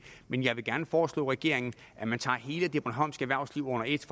men jeg vil gerne foreslå regeringen at man tager hele det bornholmske erhvervsliv under et